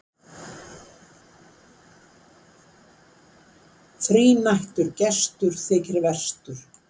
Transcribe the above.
Þrínættur gestur þykir verstur.